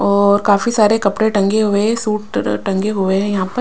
और काफी सारे कपड़े टंगे हुए हैं सूट टंगे हुए हैं यहां पर।